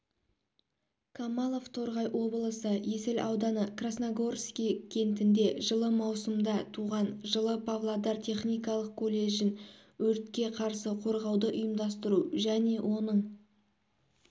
камалов торғай облысы есіл ауданы красногорский кентінде жылы маусымда туған жылы павлодар техникалық колледжін өртке қарсы қорғауды ұйымдастыру және оның